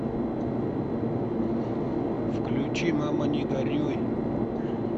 включи мама не горюй